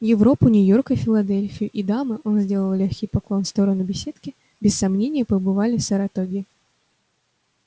европу нью-йорк и филадельфию и дамы он сделал лёгкий поклон в сторону беседки без сомнения побывали в саратоге